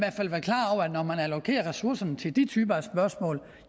allokerer ressourcerne til de typer af spørgsmål